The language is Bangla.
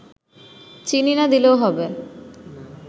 চিনি না দিলেও হবে